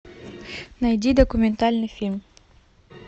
найди документальный фильм